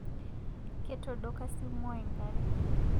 Ketodoka simuai nkare